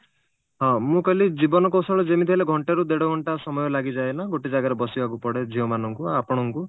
ହଁ ମୁଁ କହିଲି ଜୀବନ କୌଶଳ ଯେମିତି ହେଲେ ଘଣ୍ଟେ ରୁ ଦେଢଘଣ୍ଟା ସମୟ ଲାଗିଯାଏ ନା ଗୋଟେ ଜାଗାରେ ବସିବାକୁ ପଡେ ଝିଅ ମାନଙ୍କୁ ଆପଣଙ୍କୁ